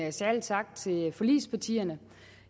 en særlig tak til forligspartierne